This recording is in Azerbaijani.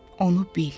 Onu bil.